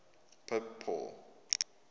pope paul